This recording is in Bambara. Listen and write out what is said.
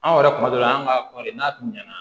Anw yɛrɛ kuma dɔ la an ka kɔɔri n'a tun ɲana